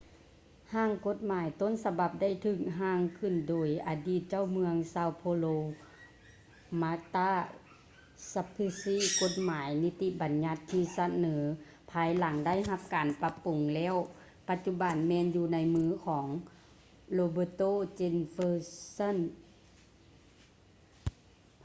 ຮ່າງກົດໝາຍຕົ້ນສະບັບໄດ້ຖືກຮ່າງຂຶ້ນໂດຍອະດີດເຈົ້າເມືອງ são paulo marta suplicy. ກົດໝາຍນິິຕິບັນຍັດທີ່ສະເໜີພາຍຫຼັງໄດ້ຮັບການປັບປຸງແລ້ວ ປັດຈຸບັນແມ່ນຢູ່ໃນມືຂອງ roberto jefferson